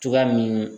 Cogoya min